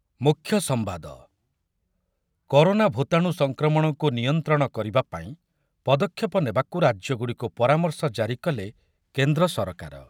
ମୂଖ୍ୟ ସମ୍ବାଦ, କରୋନା ଭୂତାଣୁ ସଂକ୍ରମଣକୁ ନିୟନ୍ତ୍ରଣ କରିବା ପାଇଁ ପଦକ୍ଷେପ ନେବାକୁ ରାଜ୍ୟଗୁଡ଼ିକୁ ପରାମର୍ଶ ଜାରି କଲେ କେନ୍ଦ୍ର ସରକାର ।